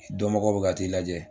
Dɔnbagaw bɛ ka t'i lajɛ